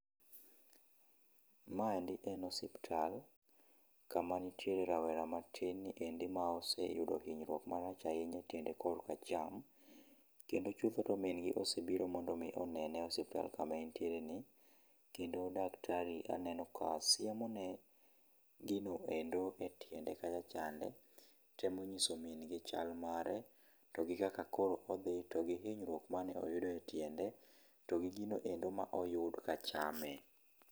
Ma endi en osiptal ka ma nitiere rawera matin ni endi moro ma ose yudo inyruoak marach ahinya e tiende ma kor acham ,chutho to min gi osebiro mondo onene e osiptal ma en tiere ni kendo daktari aneno ka siemone gi no hero e tiende kacha chande, temo ng'iso min gi chal mare gi kaka koro odhi to gi inyruok mane oyudo e tiende, to gi gino mane oyud ka chame.